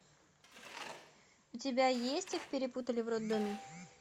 у тебя есть их перепутали в роддоме